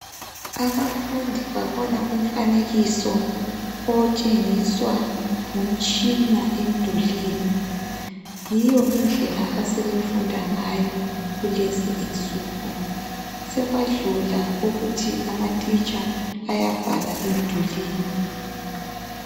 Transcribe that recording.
Abafundi babona umfanekiso otshengiswa ngumtshina emdulini. Yiyo indlela asebefunda ngayo kulezi insuku. Sekwadlula ukuthi amatitsha ayabhala emdulini.